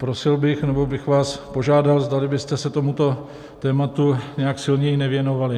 Prosil bych, nebo bych vás požádal, zdali byste se tomuto tématu nějak silněji nevěnovali.